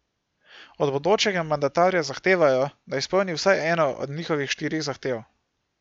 Od bodočega mandatarja zahtevajo, da izpolni vsaj eno od njihovih štirih zahtev.